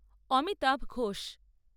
Amitabh Ghosh